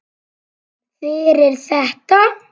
Fyrir þetta.